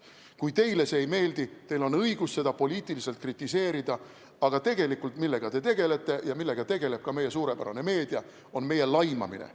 Kui teile see ei meeldi, siis teil on õigus seda poliitiliselt kritiseerida, aga tegelikult see, millega te tegelete ja millega tegeleb ka meie suurepärane meedia, on meie laimamine.